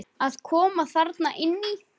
Að koma þarna inn í?